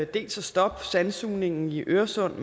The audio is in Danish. dels at stoppe sandsugningen i øresund